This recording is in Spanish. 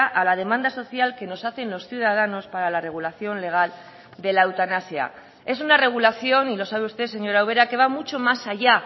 a la demanda social que nos hacen los ciudadanos para la regulación legal de la eutanasia es una regulación y lo sabe usted señora ubera que va mucho más allá